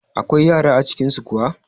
Akwai yara a cikin su kuwa?